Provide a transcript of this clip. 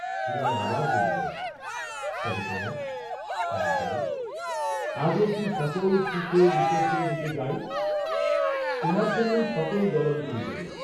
হিরণ আবার বলিলেন, তবে কনক, আমি যাই, আজ অবধি সকল সুখে বিসর্জন দিতে যাই, তোমার জন্যই সকল জলাঞ্জলি দিব।